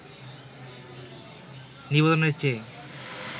নিবেদনের চেয়ে